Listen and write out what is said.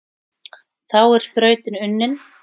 Þá er þrautin unnin,